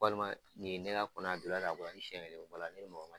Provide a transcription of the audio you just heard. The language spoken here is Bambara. Walima ni ye ne ka kɔnɔ ye a donna tan a bɔra tan ni sɛn wɛrɛ bɔra la ne be mɔgɔ wɛrɛ